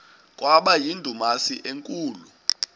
kwaba yindumasi enkulu